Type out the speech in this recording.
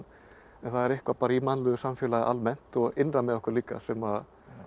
það er eitthvað bara í mannlegu samfélagi almennt og innra með okkur líka sem